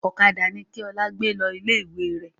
Ọ̀kadà ni kí Ọlá gbé lọ ilé ìwé rẹ̀!